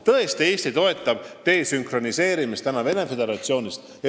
Tõesti, Eesti toetab mittesõltumist Venemaa Föderatsiooni süsteemist.